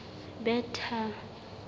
bethal